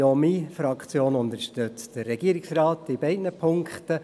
Auch meine Fraktion unterstützt den Regierungsrat in beiden Punkten.